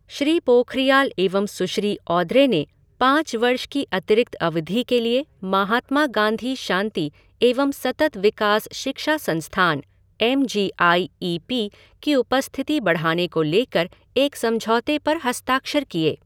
श्री पोखरियाल एवं सुश्री ऑद्रे ने पाँच वर्ष की अतिरिक्त अवधि के लिए महात्मा गांधी शांति एवं सतत विकास शिक्षा संस्थान, M G I E P की उपस्थिति बढ़ाने को लेकर एक समझौते पर हस्ताक्षर किए।